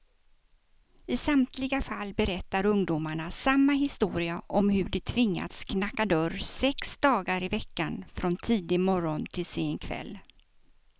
I samtliga fall berättar ungdomarna samma historia om hur de tvingats knacka dörr sex dagar i veckan, från tidig morgon till sen kväll.